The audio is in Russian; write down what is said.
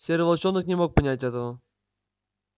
серый волчонок не мог понять этого